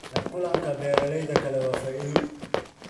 La kulanka beeralayda kale waa faa'iido.